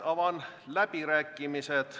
Avan läbirääkimised.